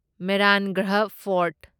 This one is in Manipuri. ꯃꯦꯍꯔꯥꯟꯒꯔꯍ ꯐꯣꯔꯠ